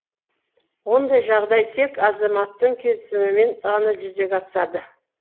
ондай жағдай тек азаматтың келісімімен ғана жүзеге асады